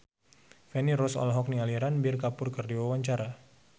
Feni Rose olohok ningali Ranbir Kapoor keur diwawancara